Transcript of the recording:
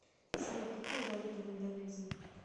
салют какая валюта в индонезии